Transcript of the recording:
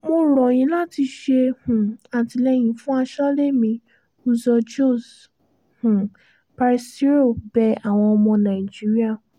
mo rọ̀ yín láti ṣe um àtìlẹ́yìn fún asọ́lé mi uzoho -josé um paseiro bẹ àwọn ọmọ nàìjíríà